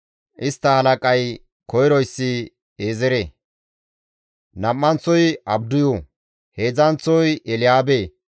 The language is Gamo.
Istta halaqay koyroyssi Eezere, nam7anththozi Abdiyu, heedzdzanththozi Elyaabe,